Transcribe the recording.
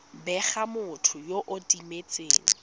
bega motho yo o timetseng